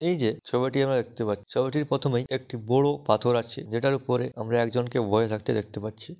এই যে ছবিটি আমরা দেখতে পা ছবিটির প্রথমেই একটি বড় পাথর আছে যেটার উপরে আমরা একজনকে বয়ে থাকতে দেখতে পাচ্ছি।